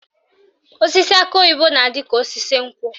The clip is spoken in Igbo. Osisi akị oyibo na-adị ka osisi nkwụ